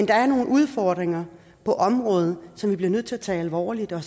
der er nogle udfordringer på området som vi bliver nødt til at tage alvorligt og